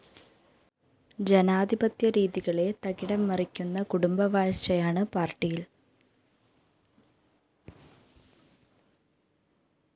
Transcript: ജനാധിപത്യരീതികളെ തകിടം മറിക്കുന്ന കുടുംബവാഴ്ചയാണ് പാര്‍ട്ടിയില്‍